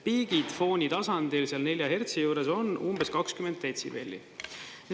Piigid foonitasandil seal 4 hertsi juures on umbes 20 detsibelli.